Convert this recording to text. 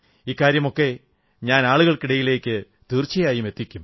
ഇക്കാര്യമൊക്കെ ഞാൻ ആളുകൾക്കിടയിലേക്ക് തീർച്ചയായുമെത്തിക്കും